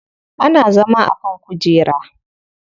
Ana zama a kan kujera.